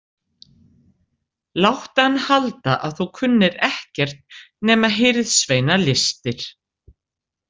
Láttu hann halda að þú kunnir ekkert nema hirðsveinalistir.